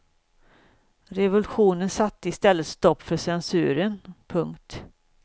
Revolutionen satte i stället stopp för censuren. punkt